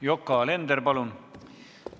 Yoko Alender, palun!